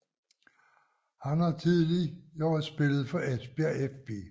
Han har tidligere spiller for Esbjerg fB